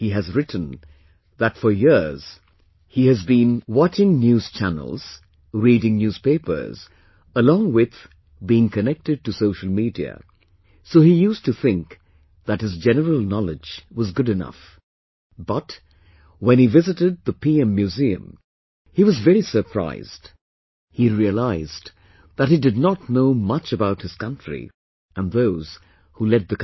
He has written that for years he has been watching news channels, reading newspapers, along with being connected to social media, so he used to think that his general knowledge was good enough... but, when he visited the PM Museum, he was very surprised, he realized that he did not know much about his country and those who led the country